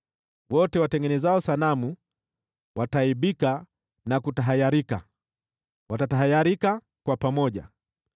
Wote watengenezao sanamu wataaibika na kutahayarika; wataenda kutahayarika pamoja.